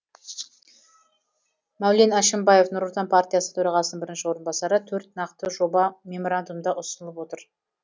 мәулен әшімбаев нұр отан партиясы төрағасының бірінші орынбасары төрт нақты жоба меморандумда ұсынылып отыр